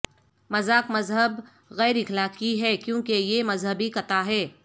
مذاق مذہب غیر اخلاقی ہے کیونکہ یہ مذہبی کتا ہے